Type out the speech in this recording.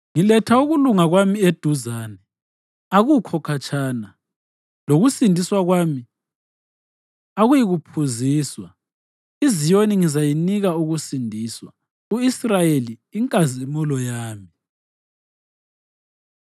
Ngiletha ukulunga kwami eduzane, akukho khatshana; lokusindisa kwami akuyikuphuziswa. IZiyoni ngizayinika ukusindiswa, u-Israyeli inkazimulo yami.”